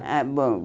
Ah, bom.